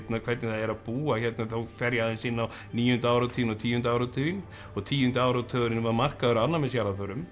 hvernig það er að búa hérna þá fer ég aðeins inn á níunda áratuginn og tíunda áratuginn og tíundi áratugurinn var markaður alnæmis jarðarförum